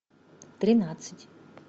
тринадцать